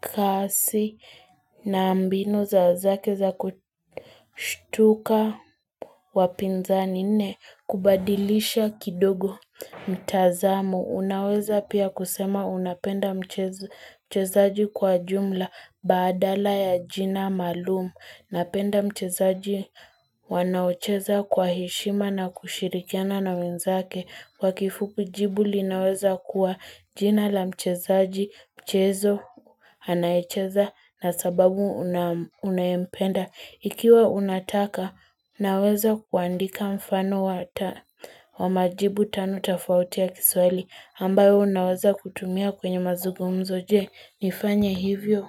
kasi na mbinu zake za kushtuka wapinzani nne kubadilisha kidogo mtazamo. Unaweza pia kusema unapenda mchezaji kwa jumla badala ya jina maalumu. Napenda mchezaji wanaocheza kwa heshima na kushirikiana na wenzake kwa kifupi jibu linaweza kuwa jina la mchezaji mchezo anaicheza na sababu unayempenda. Ikiwa unataka naweza kuandika mfano wa majibu tano tafauti ya kiswahili ambayo naweza kutumia kwenye mazugumzo je nifanye hivyo.